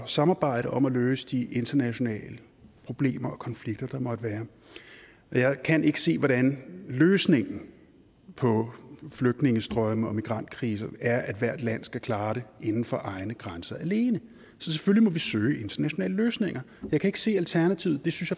samarbejde om at løse de internationale problemer og konflikter der måtte være og jeg kan ikke se hvordan løsningen på flygtningestrømme og migrantkriser er at hvert land skal klare det inden for egne grænser alene så selvfølgelig må vi søge internationale løsninger jeg kan ikke se alternativet det synes